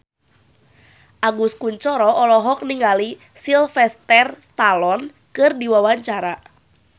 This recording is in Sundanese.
Agus Kuncoro olohok ningali Sylvester Stallone keur diwawancara